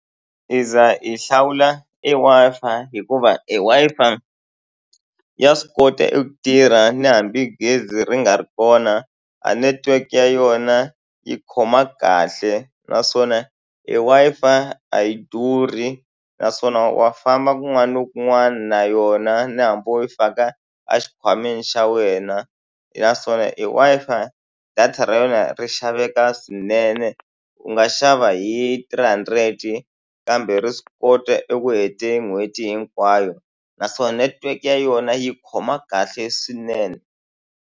Hi za hi hlawula e Wi-Fi hikuva e Wi-Fi ya swi kota eku tirha na hambi gezi ri nga ri kona, a network ya yona yi khoma kahle. Naswona e Wi-Fi a yi durhi naswona wa famba kun'wana na kun'wana na yona na hambi wo yi faka a xikhwameni xa wena. Naswona e Wi-Fi data ra yona ri xaveka swinene, u nga xava hi three hundred-i kambe ri swi kota eku heta n'hweti hinkwayo. Naswona network ya yona yi khoma kahle swinene.